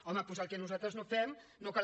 home doncs el que nosaltres no fem no cal